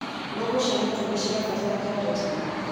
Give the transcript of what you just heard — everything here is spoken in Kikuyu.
Ngũkũ cia matumbĩ cirabatara njanjo tene.